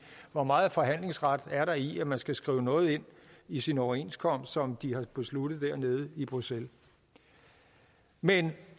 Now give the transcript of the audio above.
hvor meget forhandlingsret er der i at man skal skrive noget ind i sin overenskomst som de har besluttet dernede i bruxelles men